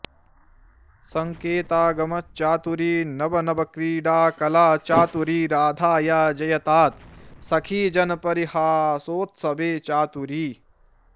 सङ्केतागम चातुरी नवनवक्रीडाकला चातुरी राधाया जयतात् सखीजनपरीहासोत्सवे चातुरी